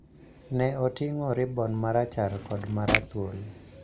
ne oting�o ribon ma rachar kod ma rathuol.